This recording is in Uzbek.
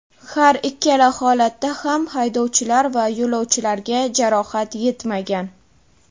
Har ikkala holatda ham haydovchilar va yo‘lovchilarga jarohat yetmagan.